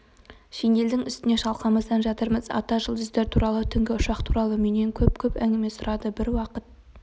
шинельдің үстінде шалқамыздан жатырмыз ата жұлдыздар туралы түнгі ұшақ туралы менен көп-көп әңгіме сұрады бір уақыт